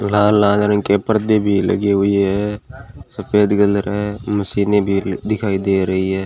लाल लाल रंग के पर्दे भी लगी हुई है सफेद कलर है मशीने ल दिखाई दे रही है।